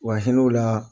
Wa hinɛ u la